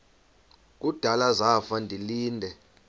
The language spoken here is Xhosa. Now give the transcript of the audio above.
kudala zafa ndilinde